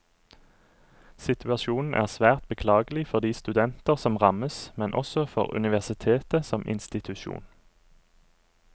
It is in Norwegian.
Situasjonen er svært beklagelig for de studenter som rammes, men også for universitetet som institusjon.